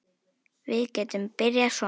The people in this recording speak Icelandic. Við getum byrjað svona